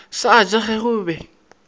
sa ja ge go be